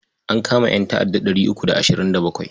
An kama ƴanta'adda ɗari uku da ashirin da bakwai.